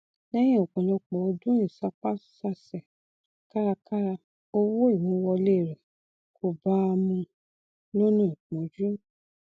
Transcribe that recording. lẹhìn ọpọlọpọ ọdún ìsapásasẹ kárakára owó ìmúwọlé rẹ kò bá a mu lọnà ìpọnjú